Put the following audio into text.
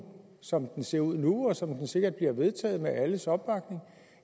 som det ser ud nu og som det sikkert bliver vedtaget med alles opbakning